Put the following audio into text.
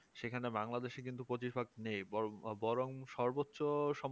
সেখানে Bangladesh এ কিন্তু পঁচিশভাগ নেই বর বরং সর্বোচ্চ